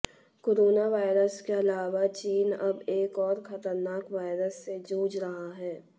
corona virus के अलावा चीन अब एक और खतरनाक वायरस से जूझ रहा है